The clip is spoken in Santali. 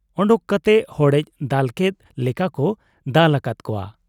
ᱚᱰᱚᱠ ᱠᱟᱛᱮ ᱦᱚᱲᱮᱡ ᱫᱟᱞᱠᱮᱫ ᱞᱮᱠᱟᱠᱚ ᱫᱟᱞ ᱟᱠᱟᱫ ᱠᱚᱣᱟ ᱾